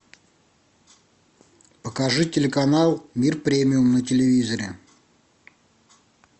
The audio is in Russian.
покажи телеканал мир премиум на телевизоре